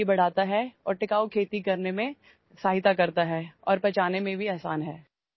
यामुळे रोगप्रतिकारशक्ती वाढते आणि शाश्वत शेतीसाठी मदत होते आणि हे धान्य पचायलाही हलके असते